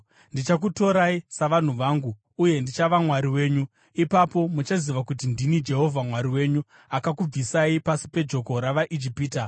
Ndichakutorai savanhu vangu, uye ndichava Mwari wenyu. Ipapo muchaziva kuti ndini Jehovha Mwari wenyu, akakubvisai pasi pejoko ravaIjipita.